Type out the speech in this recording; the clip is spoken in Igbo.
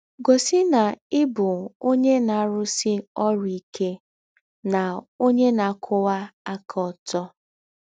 Gọsi na ị bụ ọnye na - arụsi ọrụ ike na ọnye na - akwụwa aka ọtọ.